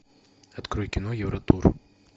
открой кино евротур